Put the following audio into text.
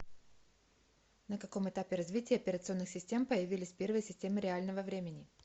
на каком этапе развития операционных систем появились первые системы реального времени